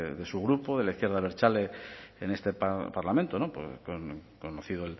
de su grupo de la izquierda abertzale en este parlamento conocido